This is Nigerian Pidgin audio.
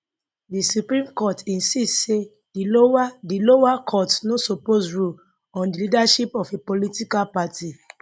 di supreme court insist say di lower di lower courts no suppose rule on di leadership of a political party